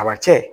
Abacɛ